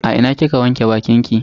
A ina kika wanke bakinki?